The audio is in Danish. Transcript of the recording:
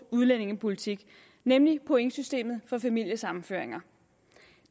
udlændingepolitik nemlig pointsystemet for familiesammenføringer